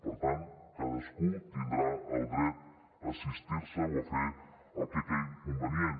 per tant cadascú tindrà el dret a assistir se o a fer el que cregui convenient